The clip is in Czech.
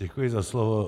Děkuji za slovo.